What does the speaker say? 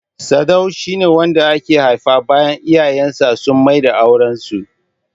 Sadau shi ne wanda aka haifa bayan iyayen sa sun maida auren su.